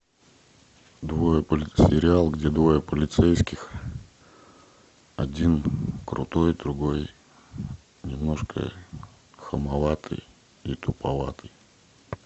двое сериал где двое полицейских один крутой другой немножко хамоватый и туповатый